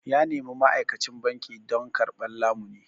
Ya nemi ma'aikacin banki don karɓar lamuni.